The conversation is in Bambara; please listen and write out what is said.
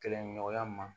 Kɛlɛɲɔgɔnya ma